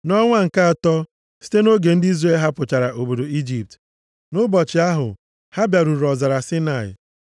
Nʼọnwa nke atọ, site nʼoge ndị Izrel hapụchara obodo Ijipt, nʼụbọchị ahụ, ha bịaruru ọzara Saịnaị.